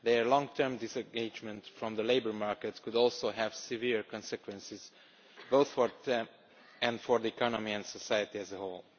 their long term disengagement from the labour market could have severe consequences both for them and for the economy and society as a whole.